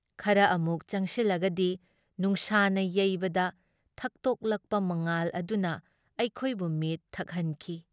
ꯈꯔ ꯑꯃꯨꯛ ꯆꯪꯁꯤꯜꯂꯒꯗꯤ ꯅꯨꯡꯁꯥꯅ ꯌꯩꯕꯗ ꯊꯛꯇꯣꯛꯂꯛꯄ ꯃꯉꯥꯜ ꯑꯗꯨꯅ ꯑꯩꯈꯣꯏꯕꯨ ꯃꯤꯠ ꯊꯛꯍꯟꯈꯤ ꯫